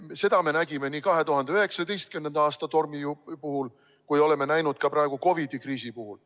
Seda me nägime 2019. aasta tormi ajal ja oleme näinud ka praegu COVID-i kriisi ajal.